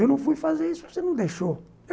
Eu não fui fazer isso, porque você não deixou.